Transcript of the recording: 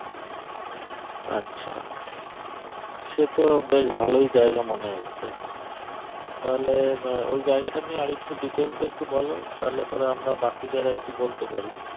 আচ্ছা সেট বেশ ভালো জায়গায় মনে হচ্ছে তাহলে ওই জায়গাটা নিয়ে আর একটু detail এ একটু বোলো তালে পরে আমরা বাকিদের একটু বলতে পারি